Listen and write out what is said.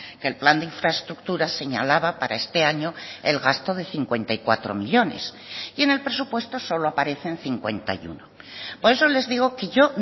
que el plan de infraestructuras señalaba para este año el gasto de cincuenta y cuatro millónes y en el presupuesto solo aparecen cincuenta y uno por eso les digo que yo